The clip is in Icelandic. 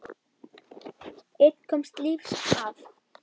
Einn komst lífs af.